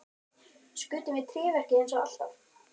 Skutum við í tréverkið eins og alltaf?